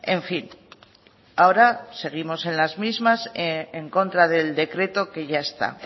en fin ahora seguimos en las mismas en contra del decreto que ya está